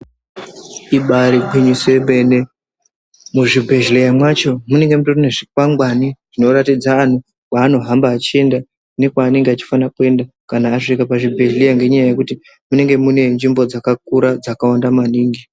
Ibari gwinyiso yemene, muzvibhedhleya mwacho munenge mutori nezvikwangani zvinoratidza anhu kwaanohamba achienda nekwaanenge achifana kuenda kana asvike pazvibhedhleya ngenyaya yekuti munenge mune nzvimbo dzakakura dzakawanda maningi.